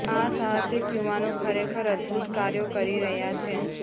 આ સાહસિક યુવાનો ખરેખર અદભૂત કાર્યો કરી રહ્યા છે